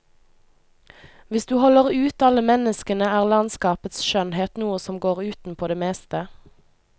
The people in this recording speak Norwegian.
Hvis du holder ut alle menneskene er landskapets skjønnhet noe som går utenpå det meste.